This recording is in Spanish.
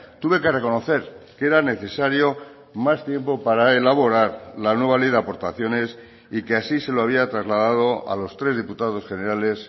tuve que reconocer que era necesario más tiempo para elaborar la nueva ley de aportaciones y que así se lo había trasladado a los tres diputados generales